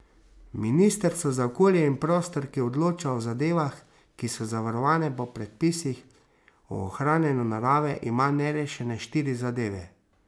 Ministrstvo za okolje in prostor, ki odloča o zadevah, ki so zavarovane po predpisih o ohranjanju narave, ima nerešene štiri zadeve.